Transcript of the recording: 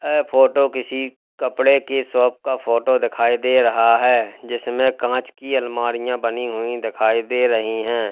ह फोटो किसी कपड़े की शॉप का फोटो देखाई दे रहा है जिसमें कांच की अलमारियां बनी हुई दिखाई दे रही हैं।